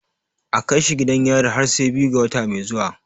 A kai shi gidan yari har sai biyu ga wata mai zuwa.